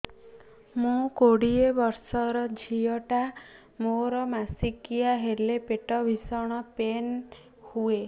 ମୁ କୋଡ଼ିଏ ବର୍ଷର ଝିଅ ଟା ମୋର ମାସିକିଆ ହେଲେ ପେଟ ଭୀଷଣ ପେନ ହୁଏ